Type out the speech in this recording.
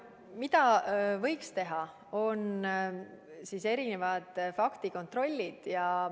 Mida võiks teha, on faktikontroll.